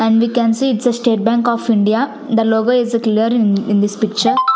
and we can see it's a state bank of india the logo is clear in in this picture.